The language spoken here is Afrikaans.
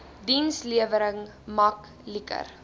dienslewering mak liker